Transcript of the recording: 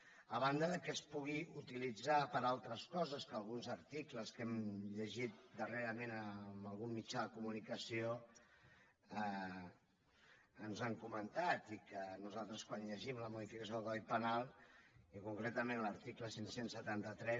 a banda que es pugui utilitzar per a altres coses que alguns articles que hem llegit darrerament en algun mitjà de comunicació que ens han comentat i que nosaltres quan llegim la modificació del codi penal i concretament l’article cinc cents i setanta tres